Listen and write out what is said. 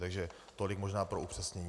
Takže tolik možná pro upřesnění.